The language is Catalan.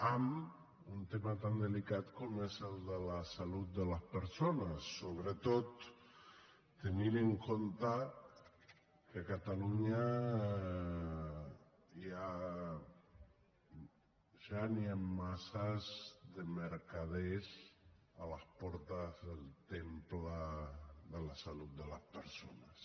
amb un tema tan delicat com és el de la salut de les persones sobretot tenint en compte que a catalunya ja n’hi han massa de mercaders a les portes del temple de la salut de les persones